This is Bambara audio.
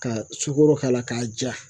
Ka sukoro k'a la k'a ja.